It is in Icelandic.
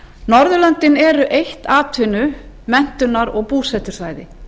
norðurlöndin eru eitt atvinnu menntunar og búsetusvæði